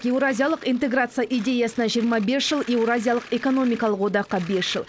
еуразиялық интеграция идеясына жиырма бес жыл еуразиялық экономикалық одаққа бес жыл